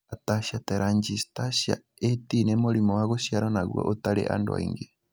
Ataxia telangiectasia (A T) nĩ mũrimũ wa gũciarwo naguo ũtarĩ andũ aingĩ.